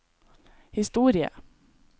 historie